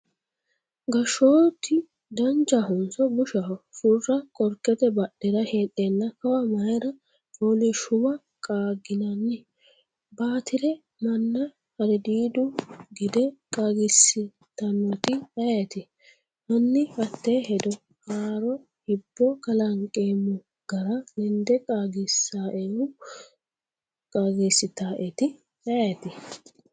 gashshooti danchahonso bushaho? Furra qorkete badhera heedheenna kawa Mayra? fooliishshuwa qaagginanni? Baatire manna harridiidu gede qaagiissitannoeti ayeeti? Hanni hatte hedo haaroo hibbo kalanqeemmo gara lende qaagisannoehu sitannoeti ayeeti?